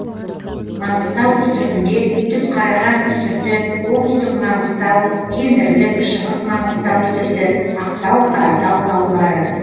манғыстау үстіртінде түпқараған үстірті оңтүстік маңғыстау кендірлік шығыс маңғыстау үстірті ақтау қаратау таулары